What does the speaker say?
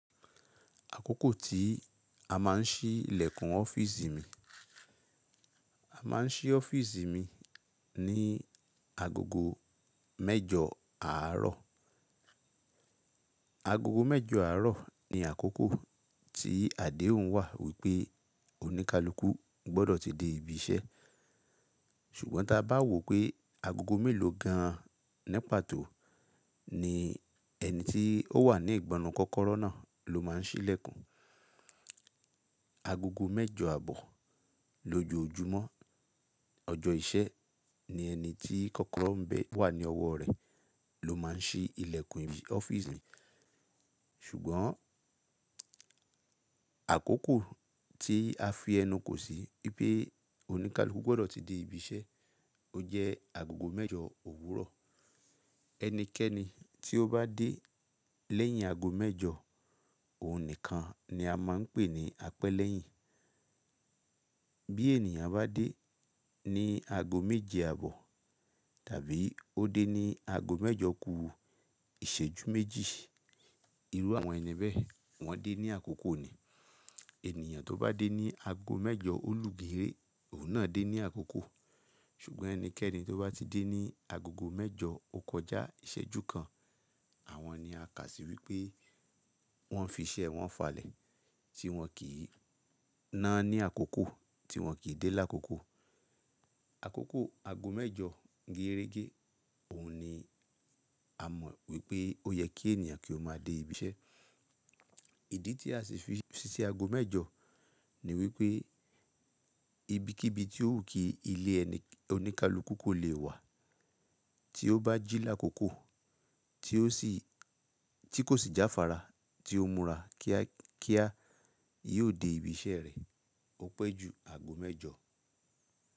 Àkókò tí a máà ń ṣí ilẹ̀kùn ọ́fíìsì mi. A máà ń ṣí ọ́fíìsì mi ní agogo mẹ́jọ̀ àárọ̀. Agogo mẹ́jọ̀ àárọ̀ ni àkókò tí àdéhùn wà wípé oníkálukú gbọ́dọ̀ ti dé ibi iṣẹ́. Ṣùgbọ́n ta bá wò pé agogo mélòó gan-an ní pàtó ni ẹni tí ó wà ní ìgbọnrun kọ́kọ́rọ́ náà ló máà ń ṣí ilẹ̀kùn. Agogo mẹ́jọ àbọ̀ lójoojúmọ́ ọjọ́ ìṣẹ́ ni ẹni tí kọ́kọ́rọ́ ń bẹ wà ní ọwọ́ rẹ̀ ló máà ń ṣí ilẹ̀kùn ọ́fíìsì mi. Ṣùgbọ́n àkókò tí a fi ẹnu kò sí wípé oníkálukú gbọ́dọ̀ ti dé ibi iṣẹ́, ó jẹ́ agogo mẹ́jọ òwúrọ̀. Ẹnikẹ́ni tí ó bá dé lẹ́yìn ago mẹ́jọ, òun nìkan ni a máà ń pè ní apẹ́lẹ́yìn. Bí ènìyàn bá dé ní ago méje àbọ̀ tàbí ó dé ní ago mẹ́jọ kú ìṣẹ́jú méjì, irú àwọn ẹni bẹ́ẹ̀ wọ́n dé ní àkókò ni. Ènìyàn tó bá dé ní ago mẹ́jọ olùgere, òun náà dé ní àkókò. Ṣùgbọ́n ẹnikẹ́ni tó bá ti dé ní agogo mẹ́jọ, ó kọjá ìṣẹ́jú kan, àwọn ni a kà sí wípé wọ́n fi iṣẹ́ wọn falẹ̀ tí wọ́n kì í ná ní àkókò, tí wọ́n kì í dé lákòókò. Àkókò ago mẹ́jọ gẹ́rẹ́gẹ́, òun ni a mọ̀ wípé ó yẹ kí ènìyàn kí ó máa dé ibi iṣẹ́. Ìdí tí a sì fi ṣíṣe ago mẹ́jọ ni wípé ibikíbi tí ó wù kí ilé ẹni, oníkálukú kò lè wà. Tí ó bá jí lákòókò tí ó sì, tí kò sì jáfára tí ó múra kíá kíá, yóò dé ibi iṣẹ́ rẹ̀, ó pẹ́ ju ago mẹ́jọ.